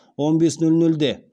он бес нөл нөлде